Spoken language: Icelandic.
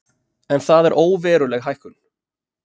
En það er óveruleg hækkun